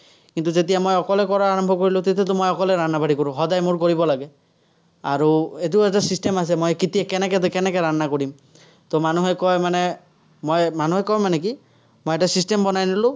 কিন্তু, যেতিয়া মই অকলে কৰাৰ আৰম্ভ কৰিলো, তেতিয়াতো মই অকলে কৰোঁ। সদায় মোৰ কৰিব লাগে। আৰু এইটো এটা system আছে, মই কেতিয়া কেনেকে কৰিম। মানুহে কয় মানে, মই, মানুহে কয় মানে কি, মই এটা system বনাই ল'লো।